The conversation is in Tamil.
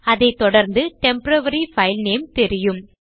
அதை தொடர்ந்து டெம்போரரி பைல் நேம் தெரியும்